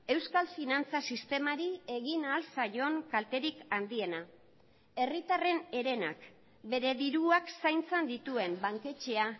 euskal finantza sistemari egin ahal zaion kalterik handiena herritarren herenak bere diruak zaintzan dituen banketxea